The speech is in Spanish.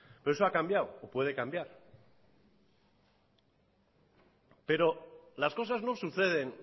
todo eso ha cambiado o puede cambiar pero las cosas no suceden